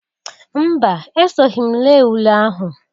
Mba! Esoghi m lee ule ahụ.